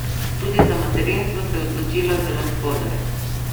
Tudi za materinstvo se je odločila zelo zgodaj.